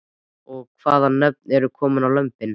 Og hvaða nöfn eru komin á lömbin?